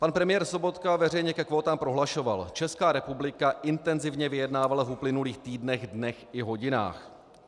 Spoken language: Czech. Pan premiér Sobotka veřejně ke kvótám prohlašoval: "Česká republika intenzivně vyjednávala v uplynulých týdnech, dnech i hodinách.